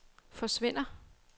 forsvinder